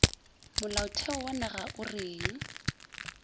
molaotheo wa naga o reng